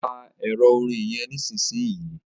pa Ẹ̀rọ orin yén nísìsiyìí!